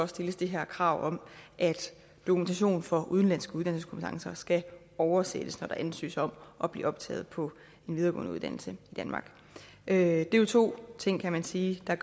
stilles det her krav om at dokumentation for udenlandske uddannelseskompetencer skal oversættes når der ansøges om at blive optaget på en videregående uddannelse i danmark det er jo to ting kan man sige der